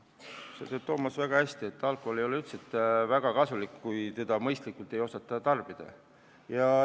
Sa tead, Toomas, väga hästi, et alkohol ei ole üldse kasulik, kui ei osata seda mõistlikult tarbida.